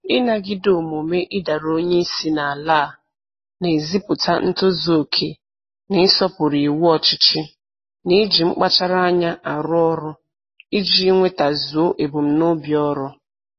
Ịnagide omume ịdara onye isi n'ala a na-ezipụta ntozuoke na-ịsọpụrụ iwu ọchịchị na iji mkpachara anya arụ ọrụ iji nwetazuo ebumnobi ọrụ